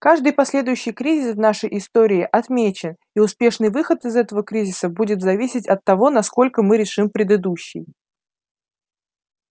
каждый последующий кризис в нашей истории отмечен и успешный выход из этого кризиса будет зависеть от того насколько мы решим предыдущий